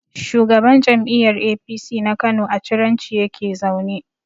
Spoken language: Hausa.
Shugaban jam'iyyar APC na Kano a Ciranci yake zaune.